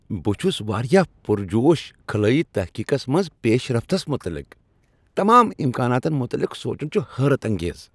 بہٕ چھس واریاہ پرجوش خلٲیی تحقیقس منٛز پیشرفتس متعلق! تمام امکاناتن متعلق سوچن چھ حیرت انگیز۔